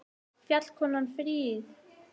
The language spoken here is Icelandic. Fjallkonan fríð!